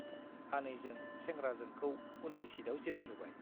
आनैजों सेंग्राजोंखौ उननि सिटआव जिरायहोबाय ।